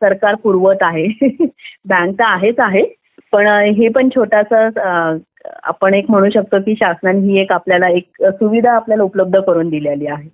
सरकार पुरवत आहे बँक तर आहेच आहे पण हे पण छोटासा आपण म्हणू शकतो शासनाने आपल्याला ही एक सुविधा पुरवली आहे